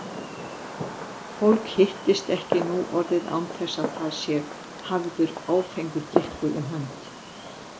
Fólk hittist ekki nú orðið án þess að það sé hafður áfengur drykkur um hönd.